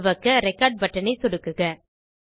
துவக்க record button ஐ சொடுக்குக